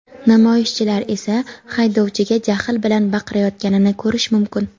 Namoyishchilar esa haydovchiga jahl bilan baqirayotganini ko‘rish mumkin.